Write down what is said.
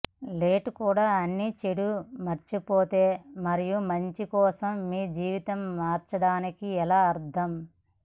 let కూడా అన్ని చెడు మర్చిపోతే మరియు మంచి కోసం మీ జీవితం మార్చడానికి ఎలా అర్థం